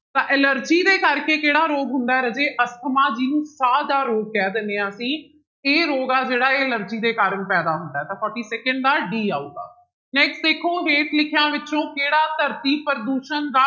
ਤਾਂ ਐਲਰਜੀ ਦੇ ਕਰਕੇ ਕਿਹੜਾ ਰੋਗ ਹੁੰਦਾ ਹੈ ਰਾਜੇ ਅਸਥਮਾ ਜਿਹਨੂੰ ਸਾਹ ਦਾ ਰੋਗ ਕਹਿ ਦਿੰਦੇ ਹਾਂ ਅਸੀਂ, ਇਹ ਰੋਗ ਆ ਜਿਹੜਾ ਇਹ ਐਲਰਜੀ ਦੇ ਕਾਰਨ ਪੈਦਾ ਹੁੰਦਾ ਹੈ ਤਾਂ forty second ਦਾ d ਆਊਗਾ next ਦੇਖੋ ਹੇਠ ਲਿਖਿਆਂ ਵਿੱਚੋਂ ਕਿਹੜਾ ਧਰਤੀ ਪ੍ਰਦੂਸ਼ਣ ਦਾ